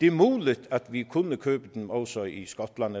er muligt at vi kunne købe dem også i skotland